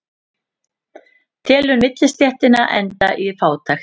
Telur millistéttina enda í fátækt